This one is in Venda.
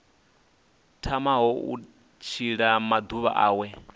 tamaho u tshila maḓuvha awe